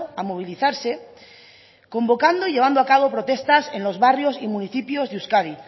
a movilizarse convocando y llevando a cabo protestas en los barrios y municipios de euskadi